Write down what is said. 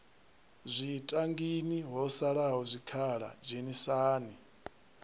zwitangini ho salaho zwikhala dzhenisani